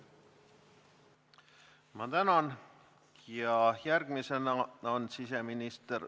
Ma tänan!